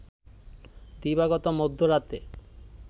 দিবাগত মধ্যরাতে